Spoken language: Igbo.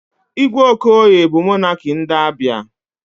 Igwe Okoye bụ monakị ndị Abịa.